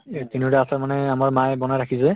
এই তিনিওটা আচাৰ মানে আমাৰ মায়ে বনাই ৰাখিছে